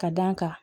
Ka d'a kan